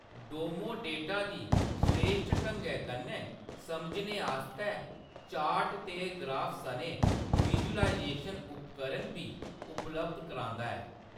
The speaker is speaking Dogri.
डोमो डेटा गी स्रेश्ठ ढंगै कन्नै समझने आस्तै चार्ट ते ग्राफ सनै विजुअलाइजेशन उपकरण बी उपलब्ध करांदा ऐ।